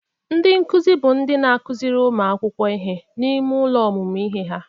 Ndị nkụzị bụ ndị n'akụzịrị ụmụ akwụkwọ ihe n'ime ụlọ ọmụmụ ihe ha.